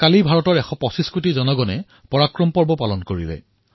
কালি ভাৰতৰ এশ পঁচিশ কোটি দেশবাসীয়ে পৰাক্ৰম দিৱস উদযাপন কৰিলে